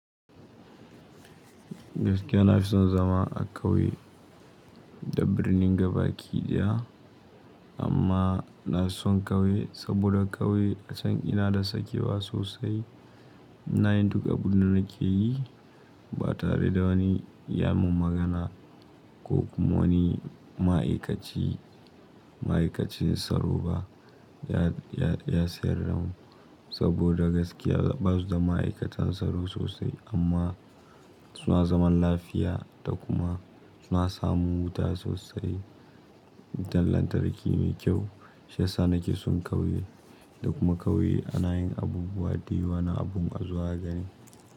Gaskiya na fi son zama a ƙauye da birnin gabaki daya, amma na son ƙauye saboda ƙauye a can ina da sakewa sosai, na yin duka abun da nake yi ba tare da wani ya mun magana ko kuma wani ma'aikaci, ma'aikacin tsaro ba ya, ya, ya sayar da mu saboda gaskiya ba su da ma'aikatan tsaro sosai amma suna zaman lafiya da kuma suna samun wuta sosai, wutan lantarki mai kyau. Shi yas anake sun ƙauye da kuma ƙauye ana yin abubuwa da yawa na abun a zo a gani.